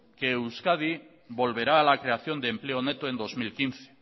que euskadi volverá a la creación de empleo neto en dos mil quince